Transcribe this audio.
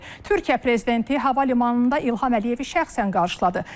Türkiyə prezidenti hava limanında İlham Əliyevi şəxsən qarşıladı.